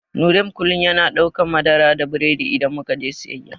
Nurain kullum yana daukan madara da biredi idan muka je wajen siyayya.